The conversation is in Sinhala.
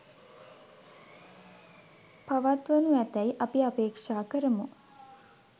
පත්වනු ඇතැයි අපි අපේක්ෂා කරමු